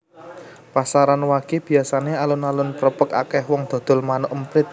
Pasaran wage biasane alun alun prepek akeh wong dodol manuk emprit